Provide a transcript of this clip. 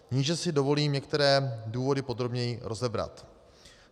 Níže si dovolím některé důvody podrobněji rozebrat.